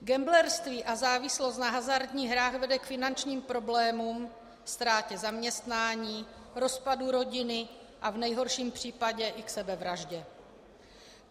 Gamblerství a závislost na hazardních hrách vede k finančním problémům, ztrátě zaměstnání, rozpadu rodiny a v nejhorším případě i k sebevraždě.